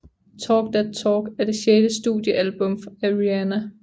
Talk That Talk er det sjette studiealbum af Rihanna